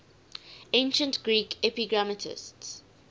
ancient greek epigrammatists